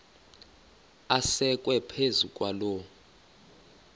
asekwe phezu kwaloo